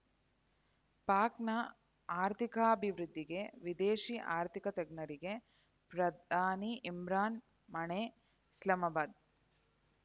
ಪಾಕ್‌ನ ಆರ್ಥಿಕಾಭಿವೃದ್ಧಿಗೆ ವಿದೇಶಿ ಆರ್ಥಿಕ ತಜ್ಞರಿಗೆ ಪ್ರಧಾನಿ ಇಮ್ರಾನ್‌ ಮಣೆ ಇಸ್ಲಾಮಾಬಾದ್‌